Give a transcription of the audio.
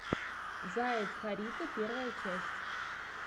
заяц харитон первая часть